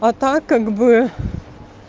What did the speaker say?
а так как бы